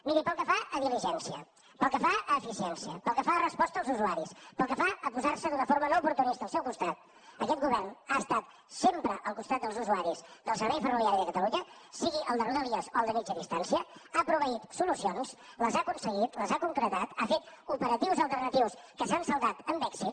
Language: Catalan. miri pel que fa a diligència pel que fa a eficiència pel que fa a resposta als usuaris pel que fa a posar se d’una forma no oportunista al seu costat aquest govern ha estat sempre al costat dels usuaris del servei ferroviari de catalunya sigui el de rodalies o el de mitjana distància ha proveït solucions les ha aconseguit les ha concretat ha fet operatius alternatius que s’han saldat amb èxit